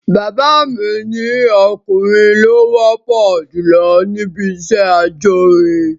Bàbá mi ni ọkùnrin ló wọ́pọ̀ jùlọ níbi iṣẹ́ ajórin